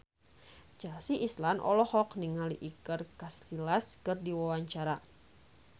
Chelsea Islan olohok ningali Iker Casillas keur diwawancara